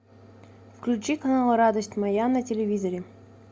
включи канал радость моя на телевизоре